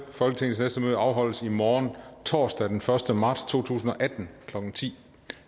folketingets næste møde afholdes i morgen torsdag den første marts to tusind og atten klokken ti